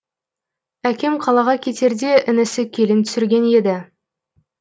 әкем қалаға кетерде інісі келін түсірген еді